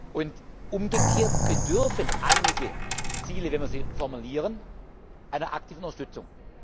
Und umgekehrt bedürfen einige Ziele, wenn wir sie formulieren, einer aktiven Unterstützung.